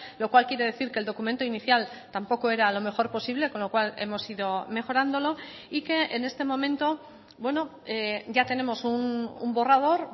lo cual quiere decir que el documento inicial tampoco era lo mejor posible con lo cual hemos ido mejorándolo y que en este momento ya tenemos un borrador